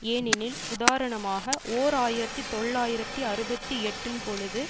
ஏனெனில் உதாரணமாக ஓர் ஆயிரத்தி தொள்ளாயிரத்தி அறுபத்தி எட்டுன் பொழுது